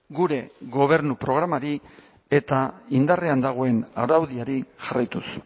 gure gobernu programari eta indarrean dagoen araudiari jarraituz